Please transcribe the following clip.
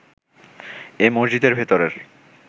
এ মসজিদের ভেতরের